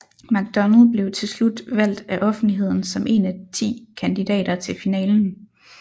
McDonald blev til slut valgt af offentligheden som en af ti kandidater til finalen